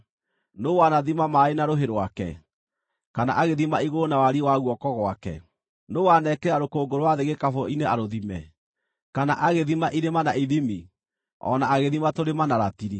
Nũũ wanathima maaĩ na rũhĩ rwake, kana agĩthima igũrũ na wariĩ wa guoko gwake? Nũũ wanekĩra rũkũngũ rwa thĩ gĩkabũ-inĩ arũthime, kana agĩthima irĩma na ithimi, o na agĩthima tũrĩma na ratiri?